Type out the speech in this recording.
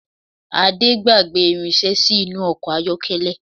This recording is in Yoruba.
Ade gbágbè irinsé sí inú ọkọ̀ ayọ́kẹ́lẹ́